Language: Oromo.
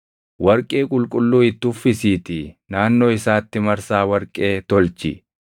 Warqee qulqulluu itti uffisiitii naannoo isaatti marsaa warqee tolchi.